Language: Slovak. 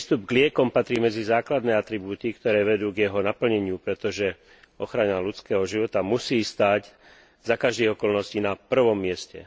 Prístup k liekom patrí medzi základné atribúty, ktoré vedú k jeho naplneniu, pretože ochrana ľudského života musí stáť za každých okolností na prvom mieste.